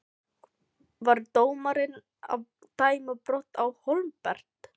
Var dómarinn að dæma brot Á Hólmbert?